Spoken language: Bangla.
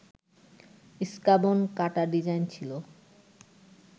ইস্কাবন কাটা ডিজাইন ছিল